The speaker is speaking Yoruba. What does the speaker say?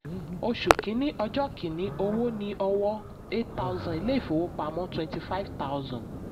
oṣù kìíní ọjọ́ kìíní: owó ní ọwọ́ eight thousand ilé ìfowópamọ́ twenty five thousand.